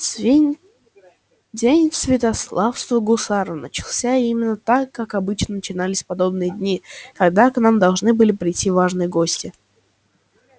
день сватовства гусара начался именно так как обычно начинались подобные дни когда к нам должны были прийти важные гости